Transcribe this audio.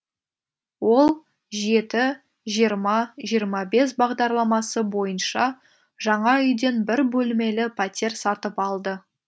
ол жеті жиырма жиырма бес бағдарламасы бойынша жаңа үйден бір бөлмелі пәтер сатып алды